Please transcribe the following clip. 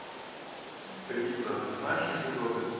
лиза а ты знаешь анекдоты